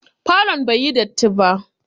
Falon bai yi datti ba.